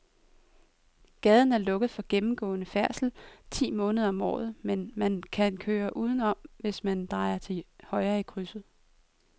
Gaden er lukket for gennemgående færdsel ti måneder om året, men man kan køre udenom, hvis man drejer til højre i krydset.